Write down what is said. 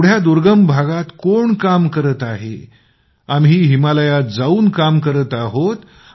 एवढ्या दुर्गम भागात कोण काम करत आहे आम्ही हिमालयात जाऊन आम्ही काम करत आहोत